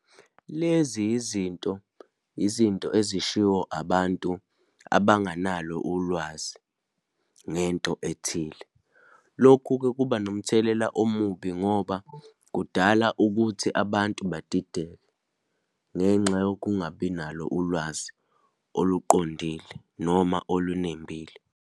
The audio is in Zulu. Lezi izinto, izinto ezishiwo abantu abanganalo ulwazi ngento ethile. Lokhu-ke kuba nomthelela omubi ngoba kudala ukuthi abantu badideke ngenxa yokungabi nalo ulwazi oluqondile, noma olunembile.